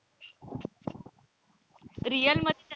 real मध्ये तर,